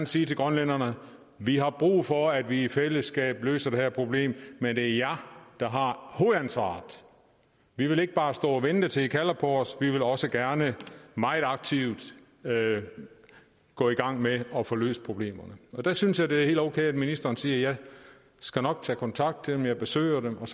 sige til grønlænderne ja vi har brug for at vi i fællesskab løser det her problem men det er jer der har hovedansvaret vi vil ikke bare stå og vente til i kalder på os vi vil også gerne meget aktivt gå i gang med at få løst problemerne og der synes jeg det er helt okay at ministeren siger jeg skal nok tage kontakt til dem jeg besøger dem og